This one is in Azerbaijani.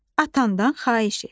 Atandan xahiş et.